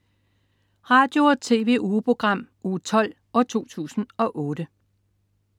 Radio- og TV-ugeprogram Uge 12, 2008